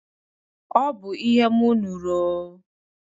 Ọ bụ ihe m nụrụ o.